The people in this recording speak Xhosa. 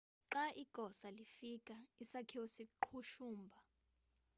xa igosa lifika isakhiwo saqhushumba